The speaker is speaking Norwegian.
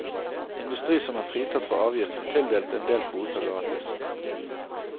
Industri som er fritatt for avgift får tildelt en del kvoter gratis.